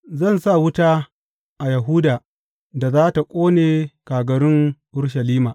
Zan sa wuta a Yahuda da za tă ƙone kagarun Urushalima.